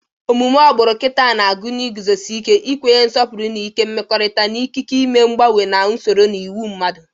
Omume agbulu nkita na-agụnye iguzosi ike ikwanye nsopuru ike mmekọrịta, na ikike ime mgbanwe na usoro na iwu mmadụ.